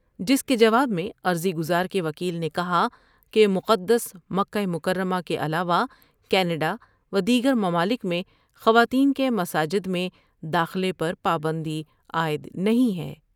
جس کے جواب میں عرضی گزار کے وکیل نے کہا کہ مقدس مکہ مکرمہ کے علاوہ کینڈا ، ودیگر ممالک میں خواتین کے مساجد میں داخلے پر پابندی عائد نہیں ہے ۔